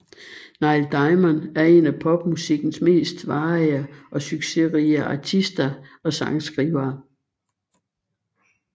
Neil Diamond er en af popmusikkens mest varige og succesrige artister og sangskrivere